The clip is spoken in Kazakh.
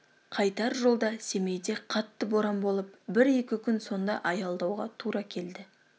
қайтар жолда семейде қатты боран болып бір-екі күн сонда аялдауға тура келді